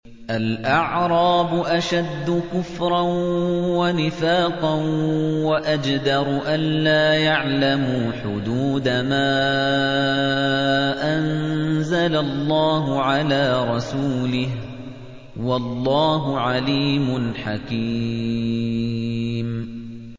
الْأَعْرَابُ أَشَدُّ كُفْرًا وَنِفَاقًا وَأَجْدَرُ أَلَّا يَعْلَمُوا حُدُودَ مَا أَنزَلَ اللَّهُ عَلَىٰ رَسُولِهِ ۗ وَاللَّهُ عَلِيمٌ حَكِيمٌ